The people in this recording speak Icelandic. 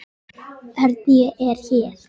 Örn, ég er hér